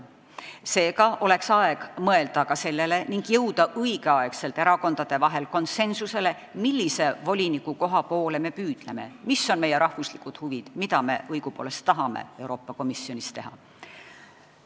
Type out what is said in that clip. Seega oleks aeg mõelda ka sellele ning jõuda aegsasti erakondade vahel konsensusele, millise volinikukoha poole me püüdleme, mis on meie riigi huvid, mida me õigupoolest tahame Euroopa Komisjonis teha.